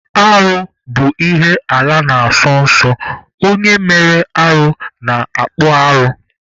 Arụ bụ ihe ala na-asọ nsọ, onye mere arụ na-akpụ arụ.